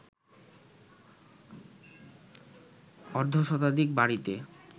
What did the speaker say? অর্ধশতাধিক বাড়িতে